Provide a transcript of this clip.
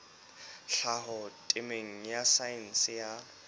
tlhaho temeng ya saense ya